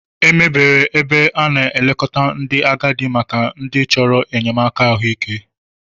Emebere ebe a na-elekọta ndị agadi maka ndị chọrọ enyemaka ahụike.